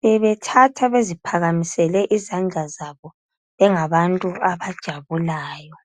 Bebethatha beziphakamisele izandla zabo, bengabantu abajabulayo.